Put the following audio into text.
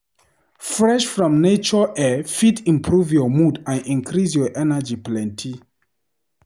Fresh from nature air fit improve your mood and increase your energy plenty.